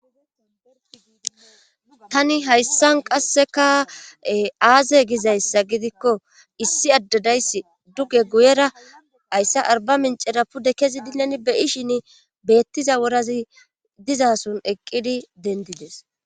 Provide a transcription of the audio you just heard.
Tani hayssan qasseka aaze gizayssa gidikko issi addadayssi duge guyera ayssa arba mincera pudde kezi dilen beyi shin beettiza worazi dizason eqqidi dendides.